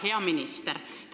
Hea minister!